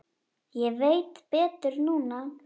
Ég veit betur núna.